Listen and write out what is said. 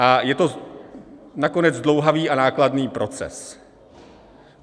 A je to nakonec zdlouhavý a nákladný proces.